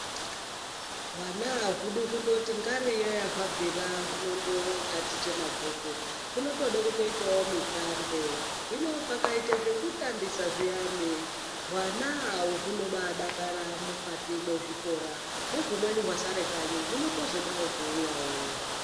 Hwana haudi kundoti ngariyo hwabvira huno ndotaticha mabhuku hunodawo zvekutambazvo, hino pakaita zvekutambisa zviyani hwana hunobadakara mukati mwezvikora nezvimweni zvasara kanyi zvinotozodawo kuuya yoo.